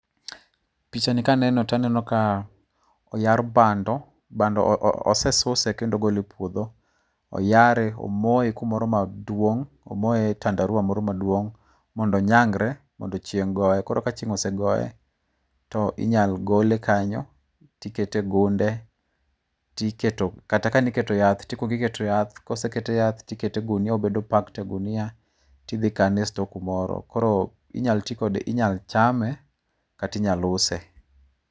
Pichani ka aneno to aneno ka oyar bando, bando ose suse kendo ogole e puodho. Oyare omoye kumoro maduong', omoye e tandarua moro maduong' mondo onyangre, mondo chieng' goye. Koro ka chieng' ose goye to minyal gole kanyo to ikete e gunde, tiket to kata ka niketo yath, to ikuongo iketo yath, koseket yath to ikete e ogunia obedo packed e gunia to idhi ikane e sto kumoro. Koro inyal tikode inyalo chame kata inyalo use.